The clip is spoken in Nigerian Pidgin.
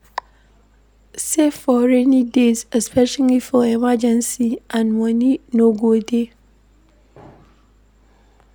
Save for rainy days especially for emergency and when money no go dey